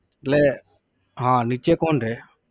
એટલે હા નીચે કોણ રે?